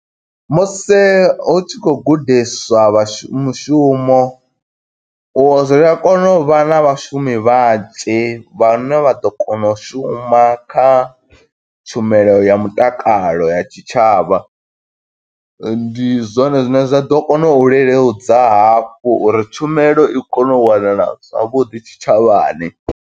Musi hu tshi khou gudiswa vhashu mushumo, u zwi a kona u vha na vhashumi vhanzhi vhane vha ḓo kona u shuma kha tshumelo ya mutakalo ya tshitshavha. Ndi zwone zwine zwa ḓo kona u leludza hafhu uri tshumelo i kone u wanala zwavhuḓi tshitshavhani.